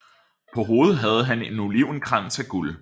På hovedet havde han en olivenkrans af guld